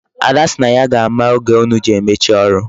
Ada si na ya ga-ama oge unu ji emechi ọrụ.